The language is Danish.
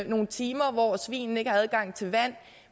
nogle timer hvor svinene ikke har adgang til vand